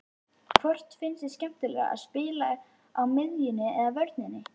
Hvort finnst þér skemmtilegra að spila á miðjunni eða vörninni?